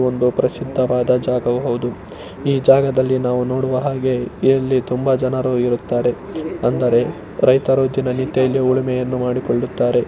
ಒಂದು ಪ್ರಸಿದ್ಧವಾದ ಜಾಗವು ಹೌದು ಈ ಜಾಗದಲ್ಲಿ ನಾವು ನೋಡಿವ ಹಾಗೆ ಇಲ್ಲಿ ತುಂಬಾ ಜನರು ಇರುತ್ತಾರೆ ಅಂದರೆ ರೈತರು ದಿನನಿತ್ಯ ಹುಳುಮೆಯನ್ನು ಮಾಡಿಕೊಳ್ಳುತ್ತಾರೆ.